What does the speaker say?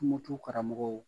Tumotu karamɔgɔw